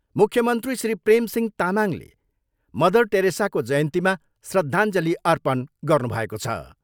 मुख्य मन्त्री श्री प्रेमसिंह तामाङले मदर टेरेसाको जयन्तीमा श्रद्धाञ्जली अर्पण गर्नुभएको छ।